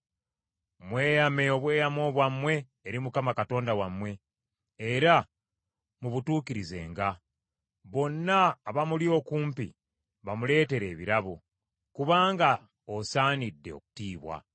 Mweyame obweyamo bwammwe eri Mukama Katonda wammwe, era mubutuukirizenga; bonna abamuli okumpi bamuleetere ebirabo, kubanga asaanidde okutiibwa.